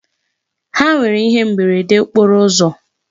Ha nwere ihe mberede okporo ụzọ.